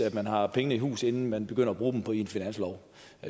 at man har pengene i hus inden man begynder at bruge dem i en finanslov